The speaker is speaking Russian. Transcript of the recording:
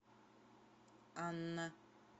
анна